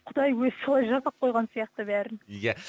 құдай өзі солай жасап қойған сияқты бәрін иә